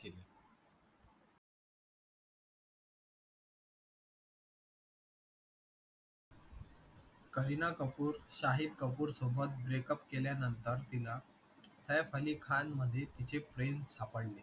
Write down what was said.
करीना कपूर शाहिद कपूर सोबत ब्रेकअप केल्या नंतर तिला सैफ अली खान मध्ये तिचे प्रेम सापडले.